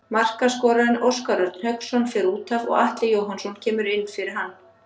Markaskorarinn Óskar Örn Hauksson fer útaf og Atli Jóhannsson kemur inn fyrir hann.